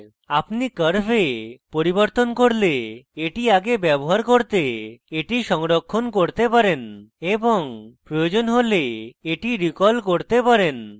আপনি curves পরিবর্তন করলে এটি আগে ব্যবহার করতে এটি সংরক্ষণ করতে পারেন এবং প্রয়োজন হলে এটি recall করতে পারেন